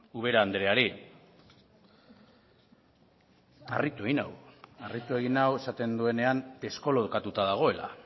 ubera andereari harritu egin nau esaten duenean deskolokatuta dagoela